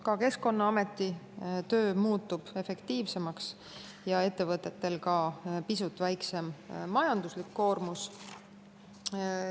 Ka Keskkonnaameti töö muutub efektiivsemaks ja ettevõtetel on samuti pisut väiksem majanduslik koormus.